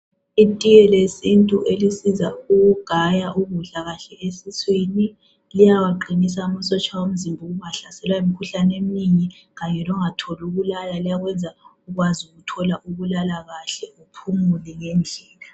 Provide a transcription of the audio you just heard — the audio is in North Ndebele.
Itiye lesintu elisiza ukugaya ukudla kahle esiswini. Liyawaqinisa amasotsha omzimba ukungahlaselwa yimikhuhlane emningi. Kanye longatholi ukulala liyakwenza ukwazi ukuthola ukulala kahle uphumule ngendlela.